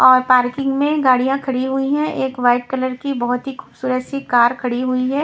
और पार्किंग में गाड़ियां खड़ी हुई है एक वाइट कलर की बहोत ही खूबसूरत सी कार खड़ी हुई है।